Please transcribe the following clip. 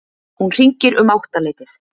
Hún hringir um áttaleytið.